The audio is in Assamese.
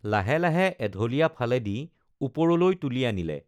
লাহে লাহে এঢলীয়া ফালেদি ওপৰলৈ তুলি আনিলে